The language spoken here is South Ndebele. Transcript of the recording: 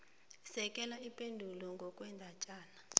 sekela ipendulwakho ngokwendatjana